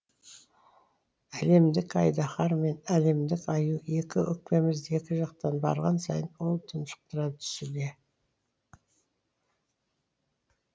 әлемдік айдаһар мен әлемдік аю екі өкпемізді екі жақтан барған сайын ол тұншықтыра түсуде